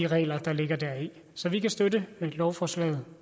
regler der ligger deri så vi kan støtte lovforslaget